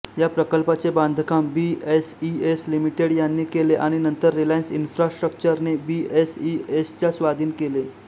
या प्रकल्पाचे बांधकाम बीएसईएस लिमिटेड यांनी केले आणि नंतर रिलायन्स इन्फ्रास्ट्रक्चरने बीएसईएसच्या स्वाधीन केले